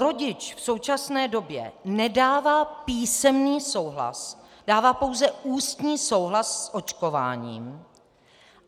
Rodič v současné době nedává písemný souhlas, dává pouze ústní souhlas s očkováním.